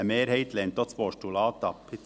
Eine Mehrheit lehnt auch das Postulat ab.